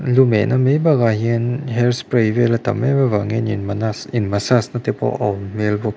lumehna mai bâkah hian hair spray vêl a tam êm avangin in manas in massage nate pawh a awm hmêl bawk--